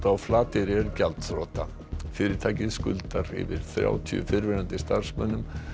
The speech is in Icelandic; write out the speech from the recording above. á Flateyri er gjaldþrota fyrirtækið skuldar yfir þrjátíu fyrrum starfsmönnum